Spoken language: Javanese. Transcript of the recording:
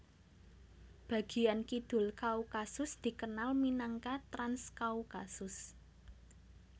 Bagian kidul Kaukasus dikenal minangka Transkaukasus